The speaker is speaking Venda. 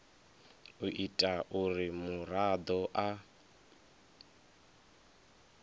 u ita uri muraḓo a